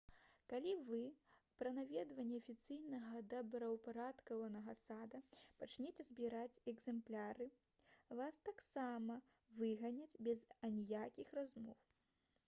калі вы пра наведванні афіцыйна добраўпарадкаванага сада пачняце збіраць «экзэмпляры» вас таксама выганяць без аніякіх размоў